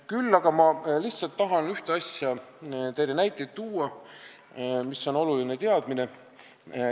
Küll aga tahan ma tuua teile näiteid ühe asja kohta, mis on oluline teadmine.